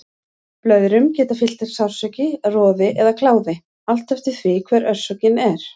Blöðrum geta fylgt sársauki, roði eða kláði, allt eftir því hver orsökin er.